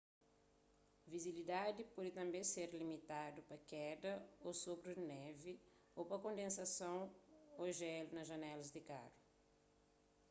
vizibilidadi pode tanbê ser limitadu pa keda ô sopru di névi ô pa kondensason ô jélu na janelas di karu